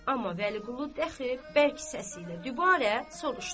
Amma Vəliqulu dəxi bərk səsi ilə dübarə soruşdu.